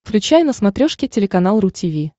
включай на смотрешке телеканал ру ти ви